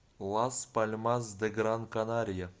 лас пальмас де гран канария